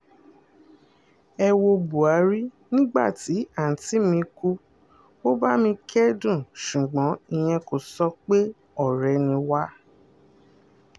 ẹ wo buhari nígbà tí àunti mi kú ó bá mi kẹ́dùn ṣùgbọ́n ìyẹn kò sọ pé ọ̀rẹ́ ni wá